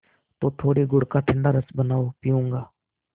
तो थोड़े गुड़ का ठंडा रस बनाओ पीऊँगा